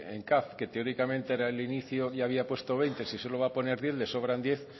en caf que teóricamente era el inicio y había puesto veinte si solo va a poner diez le sobran diez